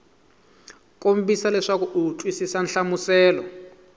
kombisa leswaku u twisisa nhlamuselo